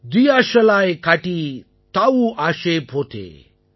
தியஷலாய் காடீ தாஊ ஆஷே போதே